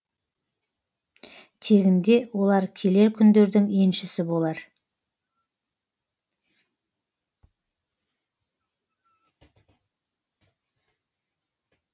тегінде олар келер күндердің еншісі болар